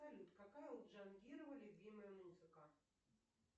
салют какая у джангирова любимая музыка